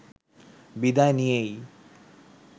বিদায় নিয়েই